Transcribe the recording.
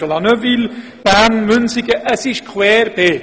Es handelt sich um sehr verschiedene ländliche und städtische Gemeinden.